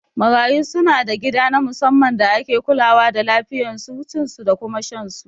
Marayu suna da gida na musamman da ake kulawa da lafiyan su, cin su da kuma shan su